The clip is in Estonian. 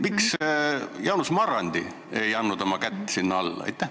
Miks Jaanus Marrandi ei pannud oma kätt sinna alla?